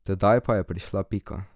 Tedaj pa je prišla Pika.